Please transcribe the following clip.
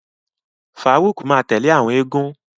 Faruq ma tẹle awọn égún.